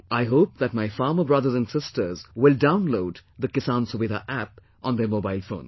I hope that my farmer brothers and sisters will download the 'Kisan Suvidha App' on their mobile phones